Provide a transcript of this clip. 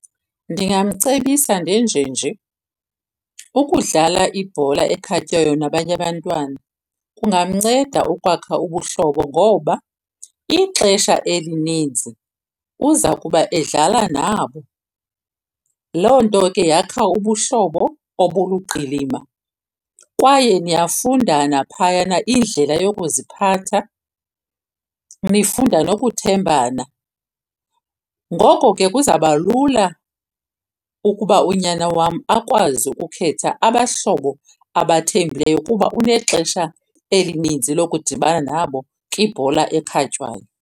Ndingamcebisa ndenjenje. Ukudlala ibhola ekhatywayo nabanye abantwana kungamnceda ukwakha ubuhlobo ngoba ixesha elininzi uza kuba edlala nabo. Loo nto ke yakha ubuhlobo obuluqilima kwaye niyafundana phayana indlela yokuziphatha nifunda nokuthembana. Ngoko ke kuzawuba lula ukuba unyana wam akwazi ukukhetha abahlobo abathembileyo kuba unexesha elininzi lokudibana nabo kwibhola ekhatywayo.